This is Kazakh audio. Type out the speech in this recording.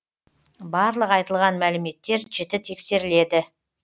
барлық айтылған мәліметтер жіті тексеріледі